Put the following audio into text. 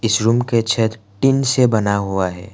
Tin से बना हुआ है।